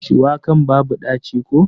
Shuwakan babu ɗaci ko?